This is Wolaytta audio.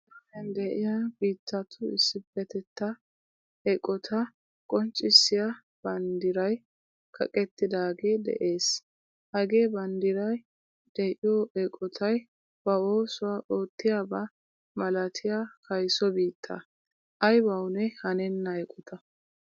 Alamiyan de'iya biittattu issipetta eqqotta qonccissiya banddiray kaqqettidage de'ees. Hagee banddiray de'iyo eqqotay ba oosuwaa oottiyaba malaatiyaa kayso biittaa. Aybawunne hanenna eqota.